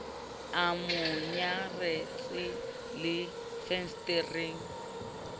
a mo nyaretse le fensetereng